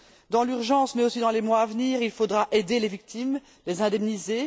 Dans l'urgence, mais aussi dans les mois à venir, il faudra aider les victimes et les indemniser.